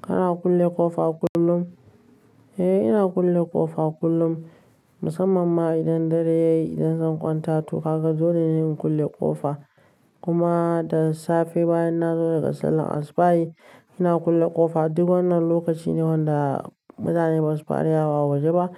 Kana kulle ƙofa kullum? Eh ina kulle ƙofa kullum, musamman ma idan dare ya yi, idan zan kwanta to kaga Dole ne in kulle ƙofa. Kuma da safe, bayan na zo daga salon asibayi, ina kulle ƙofa. Duk wannan lokaci ne wanda mutane ba su fara yawo a waje ba,